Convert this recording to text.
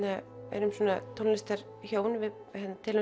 erum svona tónlistar hjón við deilum